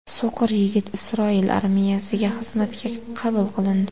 So‘qir yigit Isroil armiyasiga xizmatga qabul qilindi .